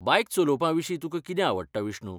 बायक चलोवपा विशीं तुका कितें आवडटा बिष्णु?